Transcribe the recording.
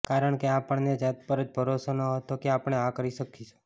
કારણ કે આપણને જાત પર જ ભરોસો ન હતો કે આપણે આ કરી શકીશું